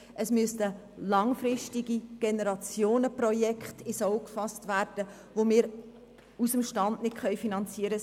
Es müssten langfristige Generationenprojekte ins Auge gefasst werden, die wir aus dem Stand heraus nicht finanzieren können.